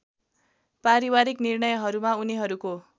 पारिवारिक निर्णयहरूमा उनीहरूको